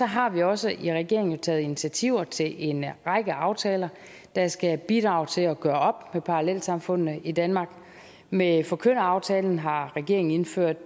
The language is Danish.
har vi også i regeringen taget initiativ til en række aftaler der skal bidrage til at gøre op med parallelsamfundene i danmark med forkynderaftalen har regeringen indført